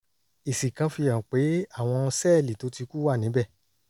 èsì kan fihàn pé àwọn sẹ́ẹ̀lì tó ti kú wà níbẹ̀